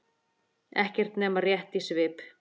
Ekki nema rétt í svip.